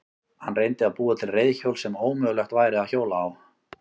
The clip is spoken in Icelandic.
Hann reyndi að búa til reiðhjól sem ómögulegt væri að hjóla á.